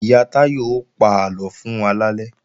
Ìyá Táyọ ó pa àlọ fún wa lálẹ́